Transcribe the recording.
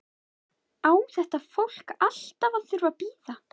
Á þetta fólk alltaf að þurfa að bíða?